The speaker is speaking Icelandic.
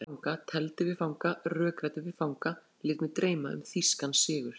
Spilaði við fanga, tefldi við fanga, rökræddi við fanga, lét mig dreyma um þýskan sigur.